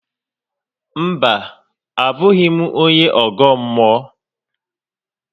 Mba, abụghị m onye ọgọ mmụọ